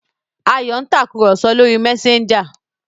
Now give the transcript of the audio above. Ayò ń Tàkùrọ̀sọ lọ rí Messager.